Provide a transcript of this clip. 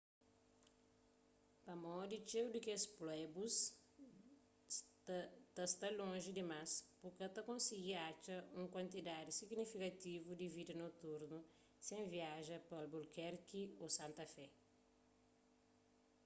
pamodi txeu di kes pueblos ta sta lonji dimas bu ka ta konsigi atxa un kuantidadi signifikativu di vida noturnu sen viaja pa albuquerque ô santa fé